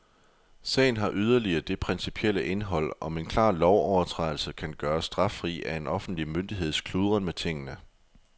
Sagen har yderligere det principielle indhold, om en klar lovovertrædelse kan gøres straffri af en offentlig myndigheds kludren med tingene.